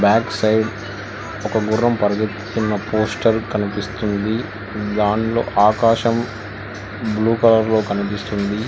Backside ఒక గుర్రం పరుగెత్తుతున్న పోస్టర్ కనిపిస్తుంది దానిలో ఆకాశం బ్లూ కలర్ లో కనిపిస్తుంది.